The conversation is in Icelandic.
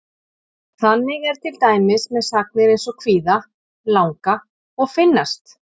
Þannig er til dæmis með sagnir eins og kvíða, langa og finnast.